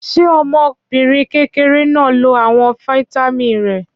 Ṣé ọmọbìnrin kékeré náà lo àwọn fataímìn rẹ̀?